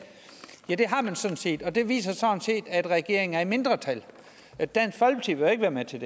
ja det har man sådan set og det viser at regeringen er i mindretal dansk folkeparti vil jo ikke være med til